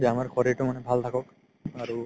যে আমাৰ শৰিৰতো মানে ভাল থাকক আৰু